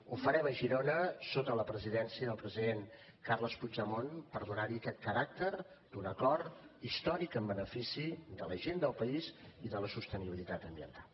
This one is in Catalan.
ho farem a girona sota la presidència del president carles puigdemont per donar li aquest caràcter d’un acord històric en benefici de la gent del país i de la sostenibilitat ambiental